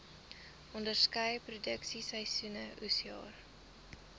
onderskeie produksieseisoene oesjare